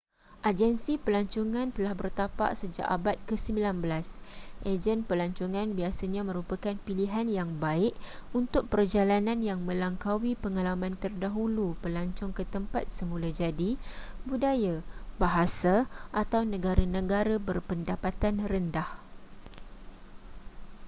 agensi pelancongan telah bertapak sejak abad ke-19 ejen pelancongan biasanya merupakan pilihan yang baik untuk perjalanan yang melangkaui pengalaman terdahulu pelancong ke tempat semula jadi budaya bahasa atau negara-negara berpendapatan rendah